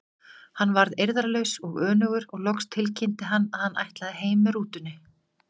Hann varð eirðarlaus og önugur og loks tilkynnti hann að hann ætlaði heim með rútunni.